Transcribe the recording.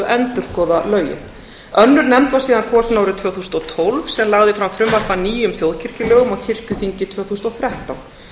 endurskoða lögin önnur nefnd var síðan kosin árið tvö þúsund og tólf sem lagði fram frumvarp að nýjum þjóðkirkjulögum og kirkjuþingi tvö þúsund og þrettán